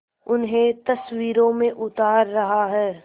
उन्हें तस्वीरों में उतार रहा है